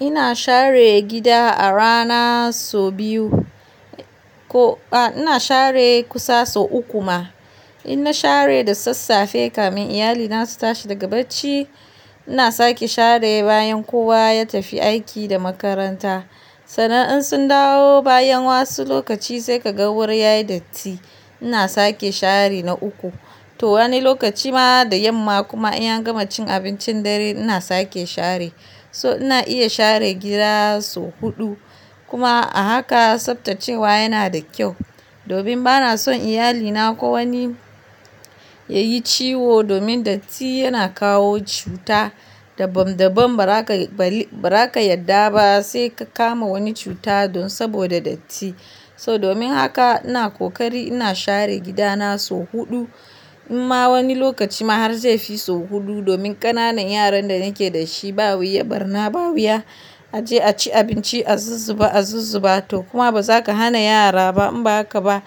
Ina share gida a rana so biyu. Ko ina share kusa so uku ma. Inna share da sassafe kamin iyalina su tashi daga bacci. Ina sake share bayan kowa ya tafi aiki da makaranta. Sannan in sun dawo bayan wasu lokaci sai ka ga wuri yayi datti. Ina sake share na uku. To wani lokaci ma da yamma kuma in an gama cin abincin dare ina sake share. So ina iya share gida sau huɗu. Kuma a haka tsaftacewa yana da kyau. Domin bana son iyalina ko wani yayi ciwo domin datti yana kawo cuta. Daban-daban ba ra ka yarda ba sai ka kama wani cuta don saboda datti. So domin haka ina kokari ina share gida na sau huɗu. In ma wani lokaci ma har zai fi so huɗu domin ƙananan yaran da nake da shi ba wuya, barna ba wuya. A je a ci abinci, a zuzzuba, a zuzzuba. To kuma ba za ka hana yara ba in ba haka ba,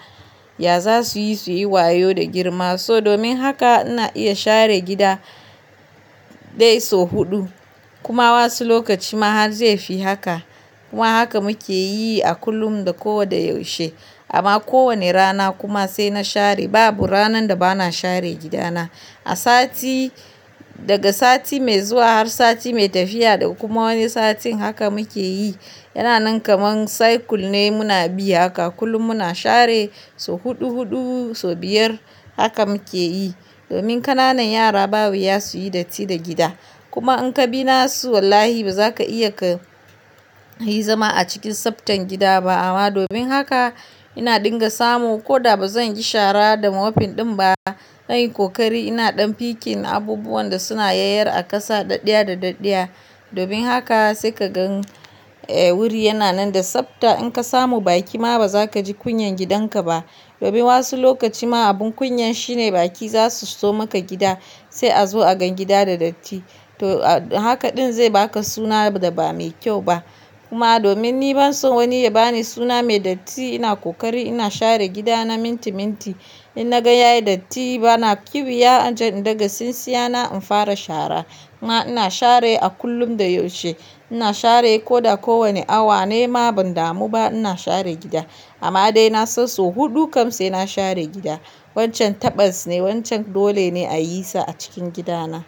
ya za su yi su yi wayo da girma. So domin haka ina iya share gida dai sau huɗu. Kuma wasu lokaci ma har zai fi haka. Kuma haka muke yi a kullum da kowa da yaushe. Amma ko wane rana kuma sai na share. Babu ranan da bana share gida na. A sati, daga sati mai zuwa har sati mai tafiya da kuma wani satin haka muke yi. Yana nan kamar cycle ne muna bi haka. Kullum muna share sau huɗu huɗu, sau biyar haka muke yi. Domin ƙananan yara ba wuya su yi datti da gida. Kuma in ka bi na su wallahi ba za ka iya ka yi zama a cikin tsaftan gida ba. Amma domin haka ina dinga samu. Ko da ba zan yi shara da mopping ɗin ba, nayi kokari ina ɗan picking abubuwan da suna yayyara a ƙasa ɗaɗɗaya da ɗaɗɗaya. Domin haka sai ka gan, wuri yana nan da tsafta. In ka samu baki ma ba za ka ji kunyan gidanka ba. Domin wasu lokaci ma abun kunyan shine baki za su so maka gida sai a zo a gan gida da datti. To a haka ɗin zai ba ka suna da ba mai kyau ba. Kuma domin ni ban son wani ya ba ni suna mai datti ina kokari ina share gida na minti minti. In na gan yayi datti bana ƙiwiya, an je in daga sinsiya na in fara shara. In ma ina share a kullum da yaushe. Ina share ko da ko wane awa ne ma, ban damu ba ina share gida. Amma dai na so sau huɗu kam sai na share gida. Wancan taɓas ne. Wancan dole ne a yi sa a cikin gida na.